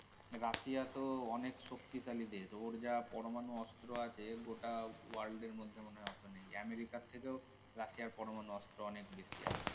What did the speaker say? Russia তো অনেক শক্তিশালী দেশ ওর যা পরমাণু অস্ত্র আছে গোটা world এর মধ্যে মনে হয় অত নেই আমেরিকার থেকেও রাশিয়া এর পরমাণু অস্ত্র অনেক বেশি আছে.